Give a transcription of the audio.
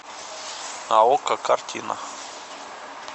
на окко картина